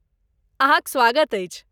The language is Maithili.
अहाँक स्वागत अछि!